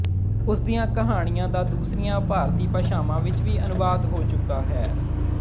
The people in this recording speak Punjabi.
ਉਸ ਦੀਆਂ ਕਹਾਣੀਆਂ ਦਾ ਦੂਸਰੀਆਂ ਭਾਰਤੀ ਭਾਸ਼ਾਵਾਂ ਵਿੱਚ ਵੀ ਅਨੁਵਾਦ ਹੋ ਚੁੱਕਾ ਹੈ